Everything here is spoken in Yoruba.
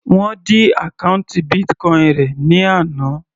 Wọ́n dí àkọ́ùntì Bitcoin rẹ̀ ní àná.